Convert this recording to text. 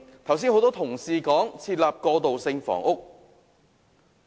剛才有多位同事談及提供過渡性房屋。